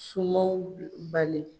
Sumanw bali